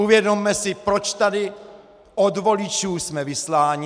Uvědomme si, proč tady od voličů jsme vysláni.